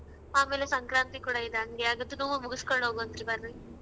ಆಮೇಲೆ ಸಂಕ್ರಾಂತಿ ಕೊಡ ಇದೆ ಅಂಗೆ ಮುಗಿಸ್ಕೊಂಡ್ ಹೋಗ್ವಂತ್ರಿ ಬರ್ರಿ.